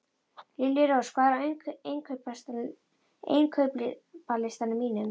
Liljurós, hvað er á innkaupalistanum mínum?